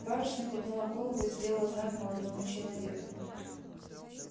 барышня подняла голову и сделала знак молодому человеку